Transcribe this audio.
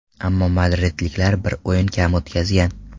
Ammo madridliklar bir o‘yin kam o‘tkazgan.